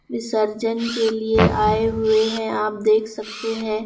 विसर्जन के लिए आए हुए हैं आप देख सकते हैं।